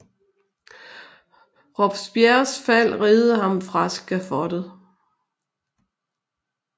Robespierres Fald reddede ham fra Skafottet